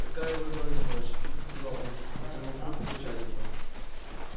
какая выдалась ночь тихо сказал он протянув руку за чайником